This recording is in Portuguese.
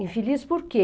Infeliz por quê?